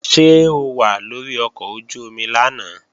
Ṣé o wà lórí ọkọ̀ ojú-omi lánàá?